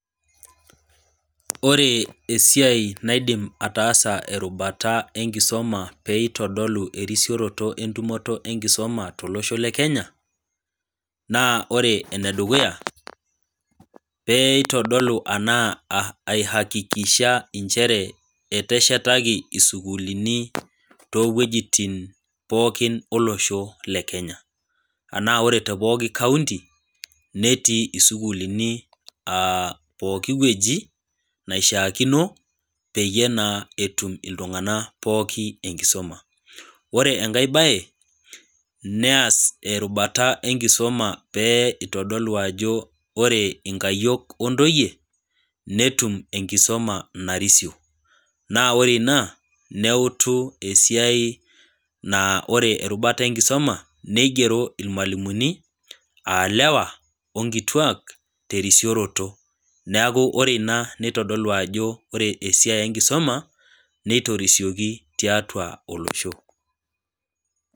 Ore esiai naidim ataasa erubata enkisoma pee eitodolu erisioroto enkisuma tolosho le Kenya, naa ore ene dukuya, pee eitodolu anaa aihakikisha inchere eteshetaki isukuulini too iwuejitin pooki olosho le Kenya. Anaa ore te pooki kaunti, netii isukuulini pooki wueji, naishaakino, peyie etum naa iltung'ana pooki enkisuma. Ore enkai baye, neas erubata enkisuma pee eitadolu ajo ore inkayiok, o intoyie, netum enkisoma narisio, naa ore ina neutu esiai naa ore erubata enkisuma, neigero ilmualimuni aa ilewa o nkituak te erisioroto, neaku ore ina neitodolu ajo ore esiai enkisuma, neitorisioki tiatua olosho.